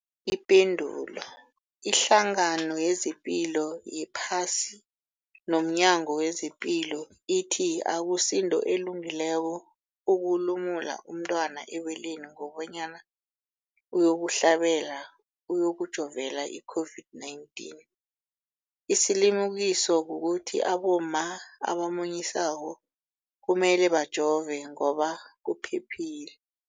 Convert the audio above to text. Ipendulo, iHlangano yezePilo yePhasi nomNyango wezePilo ithi akusinto elungileko ukulumula umntwana ebeleni kobanyana uyokuhlabela, uyokujovela i-COVID-19. Isilimukiso kukuthi abomma abamunyisako kumele bajove ngoba kuphephile.